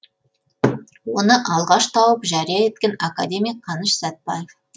оны алғаш тауып жария еткен академик қаныш сәтбаев